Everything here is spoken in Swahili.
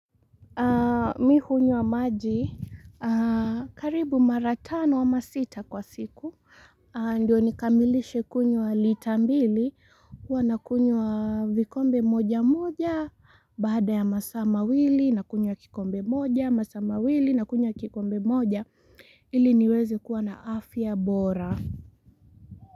Mi hunywa maji, karibu mara tano ama sita kwa siku. Ndiyo nikamilishe kunywa lita mbili, huwa nakunywa vikombe moja moja, baada ya masaa mawili, nakunywa kikombe moja, masaa mawili, nakunywa kikombe moja. Ili niwezi kuwa na afya bora.